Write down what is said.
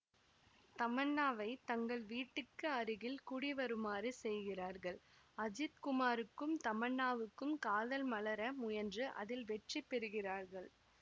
தமன்னாவை தங்கள் வீட்டுக்கு அருகில் குடிவருமாறு செய்கிறார்கள் அஜித்குமாருக்கும் தமன்னாவுக்கும் காதல் மலர முயன்று அதில் வெற்றி பெறுகிறார்கள்